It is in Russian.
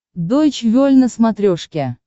дойч вель на смотрешке